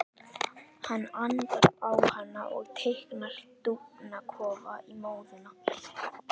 Hann andar á hana og teiknar dúfnakofa í móðuna.